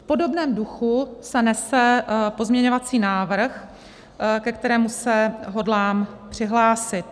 V podobném duchu se nese pozměňovací návrh, ke kterému se hodlám přihlásit.